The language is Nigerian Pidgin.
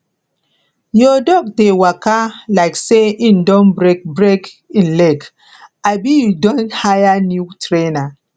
your dog dey waka like say im don break break im leg abi you don hire new trainer